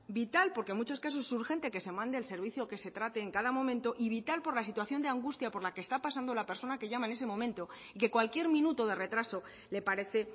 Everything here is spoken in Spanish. vital porque en muchos casos urgente que se mande el servicio que se trate en cada momento y vital por la situación de angustia por la que está pasando la persona que llama en ese momento y que cualquier minuto de retraso le parece